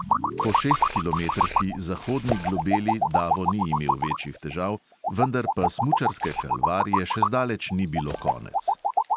Po šestkilometrski zahodni globeli davo ni imel večjih težav, vendar pa smučarske kalvarije še zdaleč ni bilo konec.